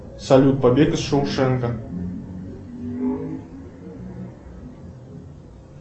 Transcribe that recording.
салют побег из шоушенка